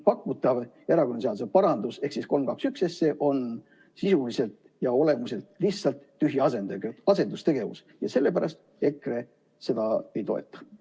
Pakutav erakonnaseaduse parandus ehk eelnõu 321 SE on sisuliselt ja olemuselt lihtsalt tühi asendustegevus ja sellepärast EKRE seda ei toeta.